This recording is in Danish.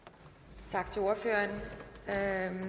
tak til ordfører er herre